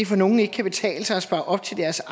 for nogle ikke kan betale sig at spare op til deres